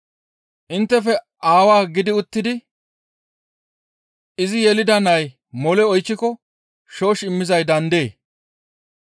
«Inttefe aawaa gidi uttidi izi yelida nay mole oychchiko shoosh immizay daandee?